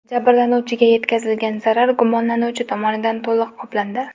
Jabrlanuvchiga yetkazilgan zarar gumonlanuvchi tomonidan to‘liq qoplandi.